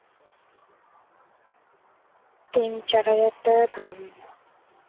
তিন চার হাজার টাকা দাম।